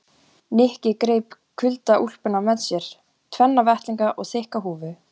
Nikki greip kuldaúlpuna með sér, tvenna vettlinga og þykka húfu.